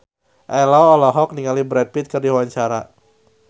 Ello olohok ningali Brad Pitt keur diwawancara